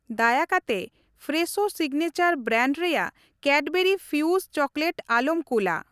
ᱫᱟᱭᱟ ᱠᱟᱛᱮ ᱯᱷᱨᱮᱥᱳ ᱥᱤᱜᱽᱱᱮᱪᱟᱨ ᱵᱨᱟᱱᱰ ᱨᱮᱭᱟᱜ ᱠᱮᱰᱵᱮᱨᱤ ᱯᱷᱤᱭᱩᱥ ᱪᱚᱠᱞᱮᱴ ᱟᱞᱚᱢ ᱠᱩᱞᱟ ᱾